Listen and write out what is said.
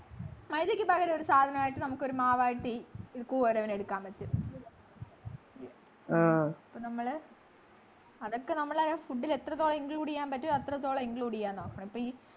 മൈദക്ക് പകരം ഒരു സാധനായിട്ടു നമുക്കൊരു മാവായിട്ട് ഈ കൂവരവിനെ എടുക്കാൻ പറ്റും അപ്പൊ നമ്മള് അതൊക്കെ നമ്മളാ food ൽ എത്രത്തോളം include ചെയ്യാൻ പറ്റും അത്രത്തോളം include ചെയ്യാൻ നോക്കണം ഇപ്പൊ ഈ